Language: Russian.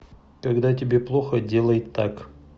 когда тебе плохо делай так